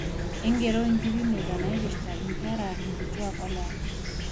ng'ero inkipimeta naaipirta inkera, inkituak olewa